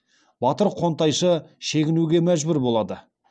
батыр қонтайшы шегінуге мәжбүр болады